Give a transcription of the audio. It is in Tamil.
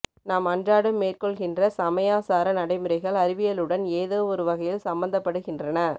நாம் அன்றாடம் மேற்கொள்கின்ற சமயாசார நடைமுறைகள் அறிவியலுடன் ஏதோ ஒரு வகையில் சம்மந்தப்படுகின்றன